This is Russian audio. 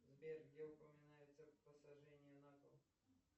сбер где упоминается посажение на кол